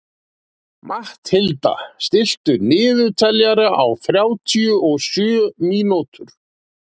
Matthilda, stilltu niðurteljara á þrjátíu og sjö mínútur.